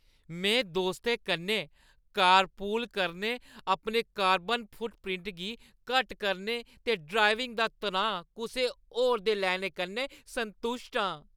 में दोस्तें कन्नै कारपूल करने, अपने कार्बन फुटप्रिंट गी घट्ट करने ते ड्राइविंग दा तनाऽ कुसै होर दे लैने कन्नै संतुश्ट आं।